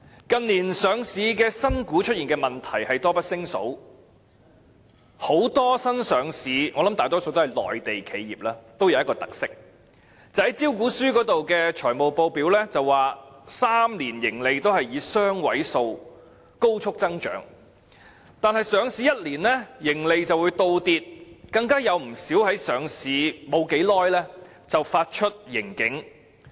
近年上市新股出現的問題多不勝數，很多新上市企業——相信大多屬內地企業——都有一個特色，就是在招股書的財務報表中表示最初3年的盈利都會以雙位數高速增長，但在上市後一年內，盈利便會倒跌，有不少更在上市後不久便發出盈警。